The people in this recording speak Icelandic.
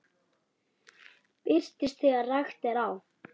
Birtist þegar rakt er á.